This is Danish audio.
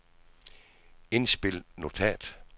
indspil notat